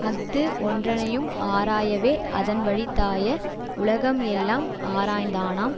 அஃது ஒன்றனையும் ஆராயவே அதன் வழித்தாய உலகம் எல்லாம் ஆராய்ந்தானாம்